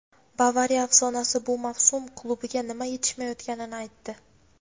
"Bavariya" afsonasi bu mavsum klubga nima yetishmayotganini aytdi;.